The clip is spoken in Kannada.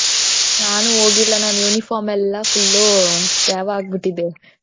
ನಾನು ಹೋಗಿಲ್ಲ ನನ್ uniform ಎಲ್ಲಾ full ಉ ತ್ಯಾವ ಆಗ್ಬಿಟ್ಟಿದೆ.